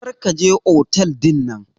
Kar ka je otel dinnan.